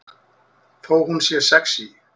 Þó hún sé sexí.